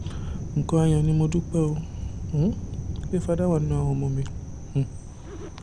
nǹkan ayọ̀ ni mo dúpẹ́ um pé fadá wà nínú àwọn ọmọ mi um